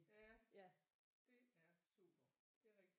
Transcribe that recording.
Ja det er super det er rigtig